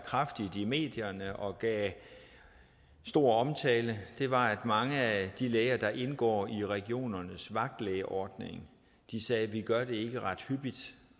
kraftigt i medierne og gav stor omtale var at mange af de læger der indgår i regionernes vagtlægeordning sagde at de ikke gør det ret hyppigt